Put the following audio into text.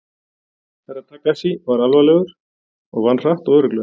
Herra Takashi var alvarlegur og vann hratt og örugglega.